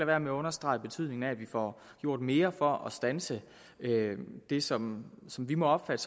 være med at understrege betydningen af at vi får gjort mere for at standse det som som vi må opfatte